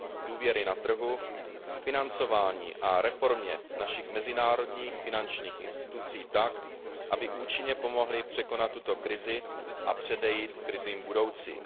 důvěry na trhu, k financování a reformě našich mezinárodních finančních institucí tak, aby účinně pomohly překonat tuto krizi a předejít krizím budoucím.